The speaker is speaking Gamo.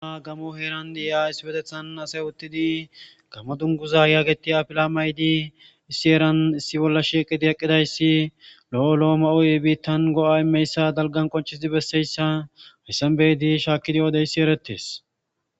Gammo heeran dii'a isbetethan asay uttidi gamma dunguza yaageti afila maydi issi eran issi bolla shieqidi eqqidayssi lo'o lo7o ma7uy biittan go7a imeyssa dalgan qonchisidi besseyssa rissanbeydi shaakidi yoodeyssi erettes.